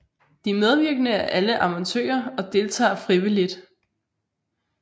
De medvirkende er alle amatører og deltager frivilligt